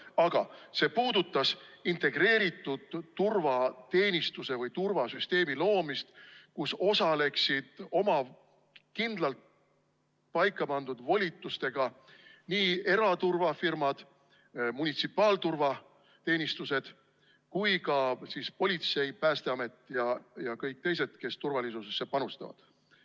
Aga see puudutas integreeritud turvateenistuse või turvasüsteemi loomist, kus osaleksid oma kindlalt paika pandud volitustega nii eraturvafirmad, munitsipaalturvateenistused kui ka politsei, Päästeamet ja kõik teised, kes turvalisusesse panustavad.